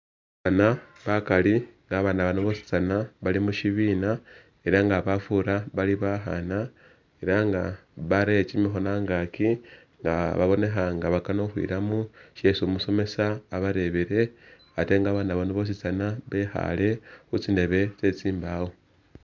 Abana bakali, nga abana bano boositsana bali mushibina ela nga bafura bali bakhana ela nga barele kimikhono a'ngaki nga babonekha nga bakana okhwilamo shesi umusomesa abarebele ate nga abana bano boositsana bekhale khutsindebe tsetsimbawo